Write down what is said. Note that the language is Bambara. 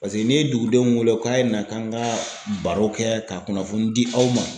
Paseke n'i ye dugudenw wele k'a ye na, k'an ka baro kɛ ka kunnafoni di aw ma